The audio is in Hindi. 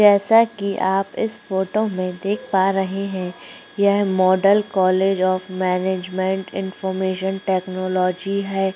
जैसा कि आप इस फोटो में देख पा रहै है यहाँ model college of management information technology है।